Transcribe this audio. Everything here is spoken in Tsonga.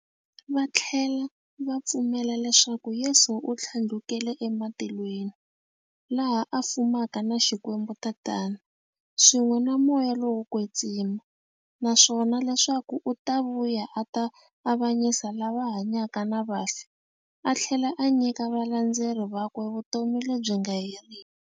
Vathlela va pfumela leswaku Yesu u thlandlukele ematilweni, laha a fumaka na Xikwembu-Tatana, swin'we na Moya lowo kwetsima, naswona leswaku u ta vuya a ta avanyisa lava hanyaka na vafi athlela a nyika valandzeri vakwe vutomi lebyi nga heriki.